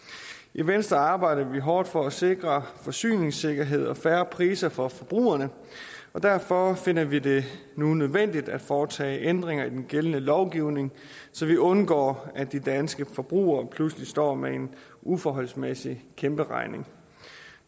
i venstre arbejder vi hårdt for at sikre forsyningssikkerhed og fair priser for forbrugerne og derfor finder vi det nu nødvendigt at foretage ændringer i den gældende lovgivning så vi undgår at de danske forbrugere pludselig står med en uforholdsmæssig kæmperegning